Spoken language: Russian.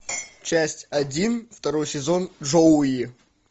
часть один второй сезон джоуи